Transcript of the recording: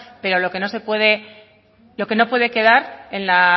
pero lo que no puede quedar